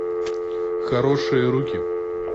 хорошие руки